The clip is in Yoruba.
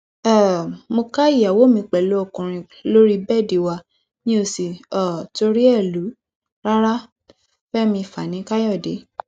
um mo ká ìyàwó mi pẹlú ọkùnrin lórí bẹẹdì wa mi ó sì um torí ẹ lù ú rárá fẹmí fanikàyọdé